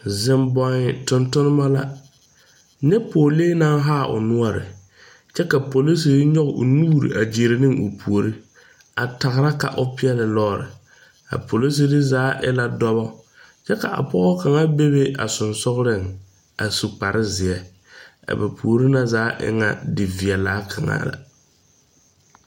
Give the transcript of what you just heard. Zeŋ boɔn tontonba la. Nyɛ pɔglee na haa o nuore lɛ. Kyɛ ka polisire nyoge o nuure a gyire ne o poore. A tagra ka o pieli lɔre. A polisire zaa e la dɔbɔ. Kyɛ ka a pɔgɔ kanga be be a susugreŋ a su kparo zie. A ba poore na zaa e ŋa die viɛla kanga la